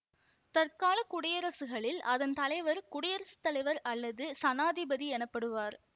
தற்காலக் குடியரசுகளில் அதன் தலைவர் குடியரசு தலைவர் அல்லது சனாதிபதி எனப்படுவார்